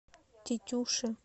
тетюши